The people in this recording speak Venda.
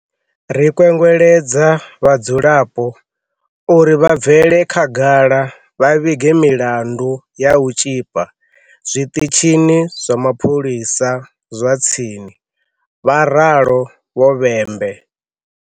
Ri kwengweledza vhadzulapo uri vha bvele khagala vha vhige milandu ya u tzhipa zwiṱitshini zwa mapholisa zwa tsini," vha ralo Vho-Bhembe.